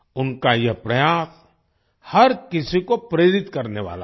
उनका यह प्रयास हर किसी को प्रेरित करने वाला है